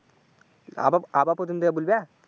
আবাব আবাব প্রথম থেকে বলবে?